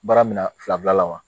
Baara mina fila bilala wa